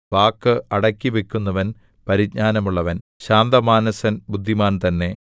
വാക്ക് അടക്കിവക്കുന്നവൻ പരിജ്ഞാനമുള്ളവൻ ശാന്തമാനസൻ ബുദ്ധിമാൻ തന്നെ